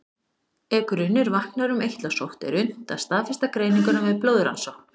Ef grunur vaknar um eitlasótt er unnt að staðfesta greininguna með blóðrannsókn.